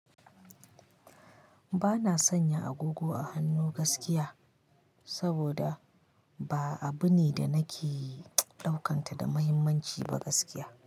Ba na sanya agogo a hannu gaskiya, saboda ba abu ne da nake ɗaukanta da mahimmanci ba gaskiya.